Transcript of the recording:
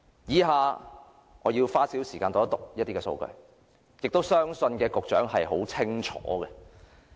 以下我要花少許時間讀出一些數據，而我相信局長也很清楚知道這些數據。